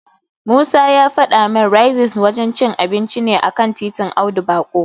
Musa ya fada min Raisins wajen cin abinci ne a kan titin Audu Bako.